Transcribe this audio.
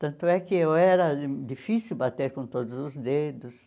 Tanto é que eu era difícil bater com todos os dedos.